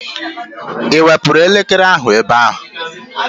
Ị wepụrụ elekere ahụ ebe a?